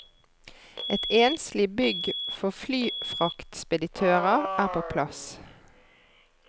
Et enslig bygg for flyfraktspeditører er på plass.